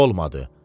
Olmadı.